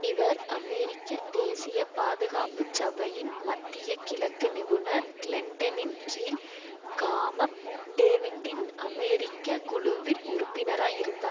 இவர் அமெரிக்க தேசிய பாதுகாப்பு சபையின் மத்திய கிழக்கு நிபுணர் கிளிண்டனின் கீழ் காமப் டேவிட்டின் அமெரிக்க குழுவில் உறுப்பினராய் இருந்தார்